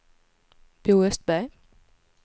Bo Östberg